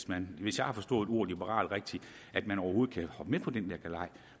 man hvis jeg har forstået ordet liberal rigtigt overhovedet kan hoppe med på den galej